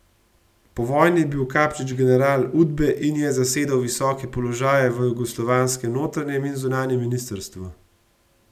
Po vojni je bil Kapičić general Udbe in je zasedal visoke položaje v jugoslovanskem notranjem in zunanjem ministrstvu.